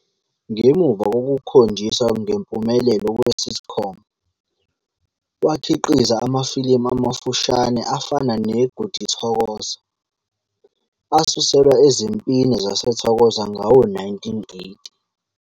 Ngemuva kokukhonjiswa ngempumelelo kwe-sitcom, wakhiqiza amafilimu amafushane afana "neGoody Thokoza" asuselwa ezimpini zaseThokoza ngawo-1980.